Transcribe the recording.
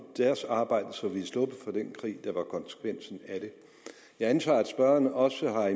deres arbejde så vi var sluppet for den krig der var konsekvensen af det jeg antager at spørgeren også har